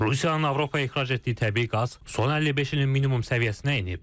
Rusiyanın Avropaya ixrac etdiyi təbii qaz son 55 ilin minimum səviyyəsinə enib.